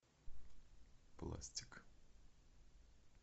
пластик